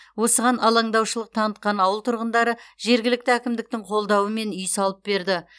осыған алаңдаушылық танытқан ауыл тұрғындары жергілікті әкімдіктің қолдауымен үй салып берді